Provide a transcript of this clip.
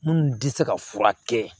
Minnu tɛ se ka furakɛ